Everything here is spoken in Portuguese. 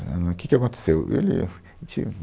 Né, O que que aconteceu? ele, ele tinha